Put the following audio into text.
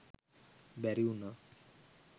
බැරි උනා.